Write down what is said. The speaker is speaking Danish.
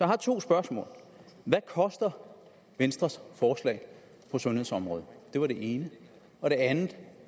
har to spørgsmål hvad koster venstres forslag på sundhedsområdet det var det ene og det andet